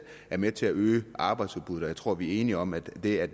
er med til at øge arbejdsudbuddet og jeg tror at vi er enige om at det at